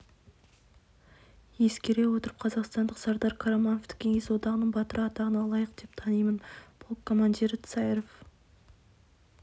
ескере отырып қазақстандық сардар қарамановты кеңес одағының батыры атағына лайық деп танимын полк командирі царев